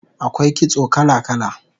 Akwai kitso kala kala